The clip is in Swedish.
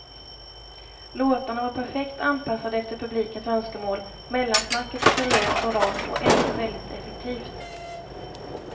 Låtarna var perfekt anpassade efter publikens önskemål, mellansnacket var seriöst och rart och ändå så väldigt effektivt.